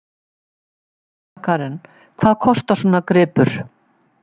Sunna Karen: Hvað kostar svona gripur?